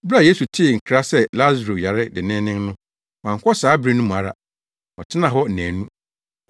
Bere a Yesu tee nkra sɛ Lasaro yare denneennen no wankɔ saa bere no ara mu; ɔtenaa hɔ nnaanu.